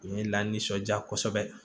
U ye la nisɔndiya kosɛbɛ